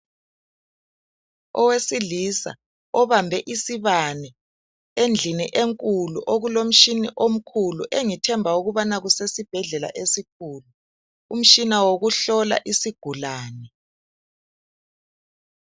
Owesilisa obambe isibane endlini enkulu okulomtshini omkhulu engithemba kusesibhedlela esikhulu. Umtshina wokuhlola isigulane.